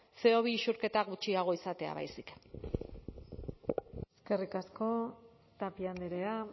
ce o bi isurketa gutxiago izatea baizik eskerrik asko tapia andrea